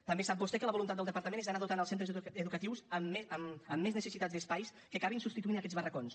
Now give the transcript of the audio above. també sap vostè que la voluntat del departament és anar dotant els centres educatius amb més necessitats d’espais que acabin substituint aquests barracons